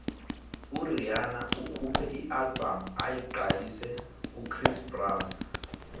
urhihana ukhuphe ialbum ayiqalise kuchris brown